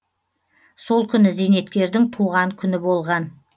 сол күні зейнеткердің туған күні болған